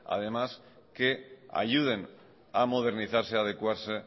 que ayuden a modernizarse adecuarse